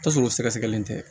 Tasuma sɛgɛsɛgɛlen tɛ